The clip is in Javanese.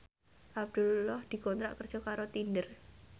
Abdullah dikontrak kerja karo Tinder